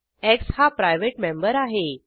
x हा private member आहे